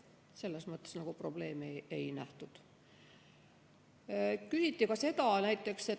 Selles mõttes probleemi ei nähtud.